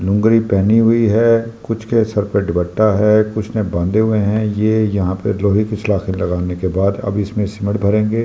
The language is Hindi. लुंगरी पहनी हुई है कुछ के सर पे दुपट्टा है कुछ बांधे हुए हैं ये यहां पे लोहे की सलाखें लगाने के बाद अब इसमे सिमेट भरेंगे --